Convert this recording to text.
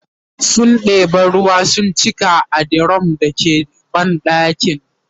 sun ɗeba ruwa sun cika a dirum da ke banɗakin